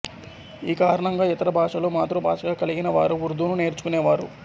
ఈ కారణంగా ఇతర భాషలు మాతృభాషగా కలిగినవారు ఉర్దూను నేర్చుకునేవారు